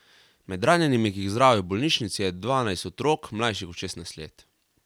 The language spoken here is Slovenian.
Med ranjenimi, ki jih zdravijo v bolnišnici, je dvanajst otrok, mlajših od šestnajst let.